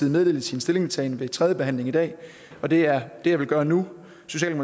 meddele sin stillingtagen ved tredje behandling i dag og det er det jeg vil gøre nu